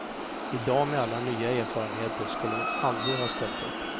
I dag med alla nya erfarenheter, skulle hon aldrig ha ställt upp.